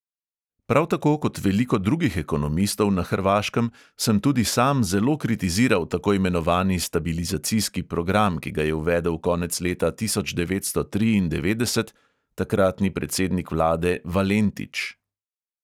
Prav tako kot veliko drugih ekonomistov na hrvaškem sem tudi sam zelo kritiziral tako imenovani stabilizacijski program, ki ga je uvedel konec leta tisoč devetsto triindevetdeset takratni predsednik vlade valentič.